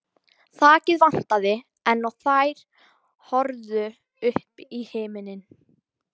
Þakið vantaði enn og þær horfðu upp í himininn.